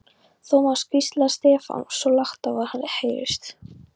Thomas hvíslaði Stefán, svo lágt að vart heyrðist.